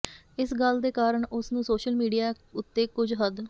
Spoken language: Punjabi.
ਇਸ ਗੱਲ ਦੇ ਕਾਰਨ ਉਸ ਨੂੰ ਸੋਸ਼ਲ ਮੀਡੀਆ ਉੱਤੇ ਕੁੱਝ ਹੱਦ